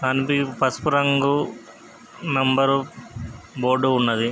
పసుపు రంగు number board ఉన్నది.